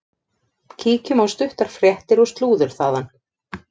Kíkjum á stuttar fréttir og slúður þaðan.